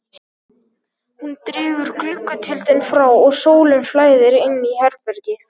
Hún dregur gluggatjöldin frá og sólin flæðir inn í herbergið.